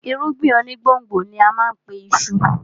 Irúgbìn onígbòǹgbò ni á má a pe iṣu